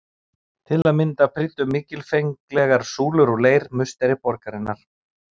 Til að mynda prýddu mikilfenglegar súlur úr leir musteri borgarinnar.